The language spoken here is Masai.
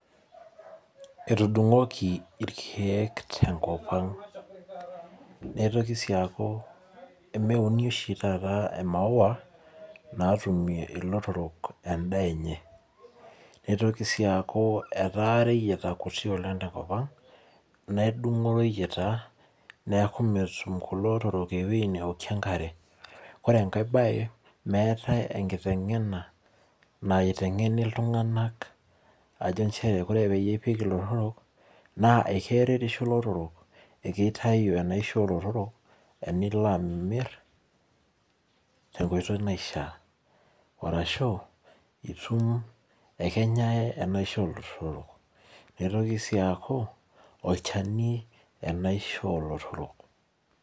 etudungoki irkeek te ngop ang' nitoki sii aku meuni oshi taata imaua naatumie ilotorok endaa enye, nitoki sii aku etaa ireyieta kuti te ngop ang' ,nedungo ireyita niaku meetum kulo otorok ewei neokie enkare, ore enkai bai, meetai enkitengena naitengeni iltunganak ajo inchere ore piipik ilotorok na keretisho ilotorok, keitayu enisho oolotorok, enilo amir te enkoitoi naishia, arashu kenyai enisho olotorok arashu nitoki sii aaku olchani enaisho oolotorok